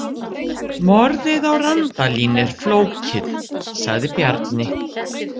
Morðið á Randalín er flókið, sagði Bjarni.